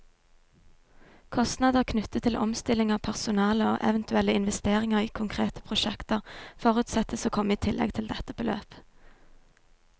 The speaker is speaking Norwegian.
Kostnader knyttet til omstilling av personale, og eventuelle investeringer i konkrete prosjekter, forutsettes å komme i tillegg til dette beløp.